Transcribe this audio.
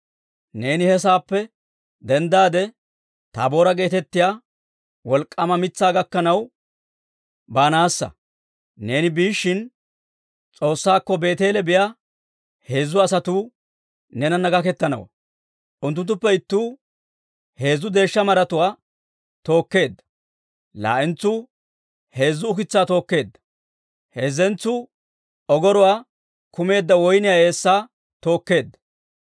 «Neeni he saappe denddaade, Taaboora geetettiyaa wolk'k'aama mitsaa gakkanaw baanassa; neeni biishshin, S'oossaakko Beeteele biyaa heezzu asatuu neenana gakettanawantta. Unttunttuppe ittuu heezzu deeshsha maratuwaa tookeedda; laa"entsuu heezzu ukitsaa tookeedda; heezzentsuu ogoruwaa kumeedda woyniyaa eessaa tookeedda.